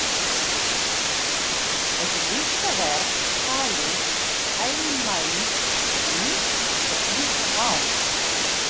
Þessi listaverk tali heilnæmt, nýtt og hlýtt mál.